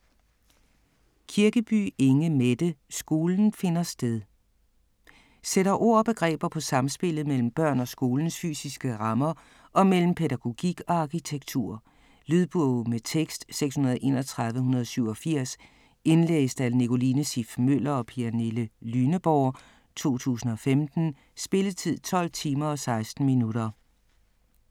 Kirkeby, Inge Mette: Skolen finder sted Sætter ord og begreber på samspillet mellem børn og skolens fysiske rammer og mellem pædagogik og arkitektur. Lydbog med tekst 631187 Indlæst af Nicoline Siff Møller og Pernille Lyneborg, 2015. Spilletid: 12 timer, 16 minutter.